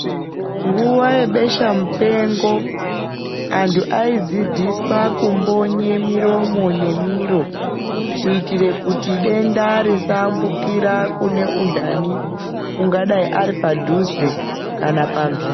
Nguwa yebesha mupengo anthu aidzidziswa kumbonye miromo nemiro kuitira kuti denda risaambukire kune undani ungadai uri padhuze kana pambiri.